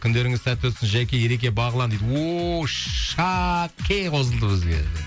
күндеріңіз сәтті өтсін жәке ереке бағлан дейді ооо шаке қосылды бізге